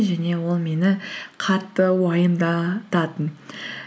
және ол мені қатты уайымдататын